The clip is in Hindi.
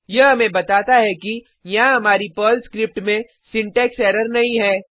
यह हमें बाताता है कि यहाँ हमारी पर्ल स्क्रिप्ट में सिंटेक्स एरर नहीं है